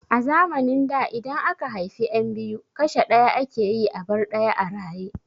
A zamanin da idan aka haifi yan biyu kashe ɗaya ake yi a bar ɗaya a raye